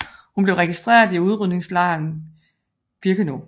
Hun blev registreret i udryddelseslejren Birkenau